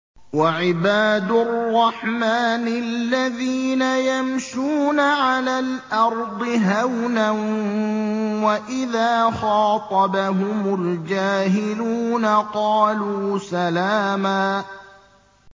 وَعِبَادُ الرَّحْمَٰنِ الَّذِينَ يَمْشُونَ عَلَى الْأَرْضِ هَوْنًا وَإِذَا خَاطَبَهُمُ الْجَاهِلُونَ قَالُوا سَلَامًا